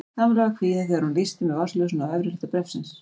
Kamilla var kvíðin þegar hún lýsti með vasaljósinu á efri hluta bréfsins.